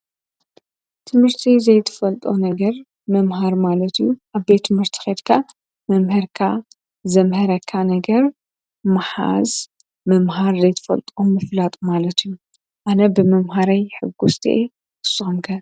እቲ ንእሽተይ ዘይትፈልጦ ነገር ምምሃር ማለት እዩ። አብ ቤት ትምህርቲ ኬድካ መምህርካ ዘምሀረካ ነገር ምሓዝ ምምሃር ዘይትዘልጦም ምፍላጥ ማለት እዩ። አነ ብምምሃረይ ሕጉስቲ እየ ንስኩም ከ?